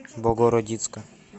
богородицка